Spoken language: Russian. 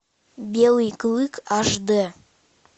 белый клык аш дэ